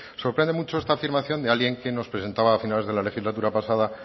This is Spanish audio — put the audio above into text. sorprende mucho esta afirmación de alguien que nos presentaba a finales de la legislatura pasada